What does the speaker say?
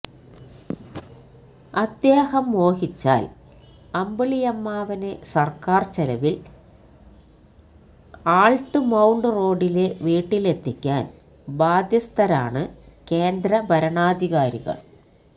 അദ്ദേഹം മോഹിച്ചാല് അമ്പിളിയമ്മാവനെ സര്ക്കാര് ചെലവില് ആള്ട്ട്മൌണ്ട് റോഡിലെ വീട്ടിലെത്തിക്കാന് ബാധ്യസ്ഥരാണ് കേന്ദ്രഭരണാധികാരികള്